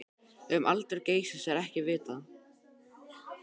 Um aldur Geysis er ekki vitað.